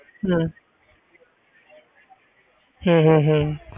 ਹਮ ਹਮ ਹਮ ਹਮ